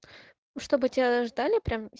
ну чтобы тебя ждали прям